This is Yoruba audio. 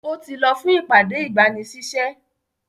Ó ti lọ fún ìpàdé-ìgbanisísẹ́.